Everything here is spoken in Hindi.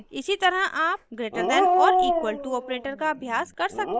इसी तरह आप greater than or equal to operator का अभ्यास कर सकते हैं